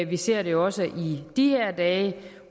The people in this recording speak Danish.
vi ser det jo også i de her dage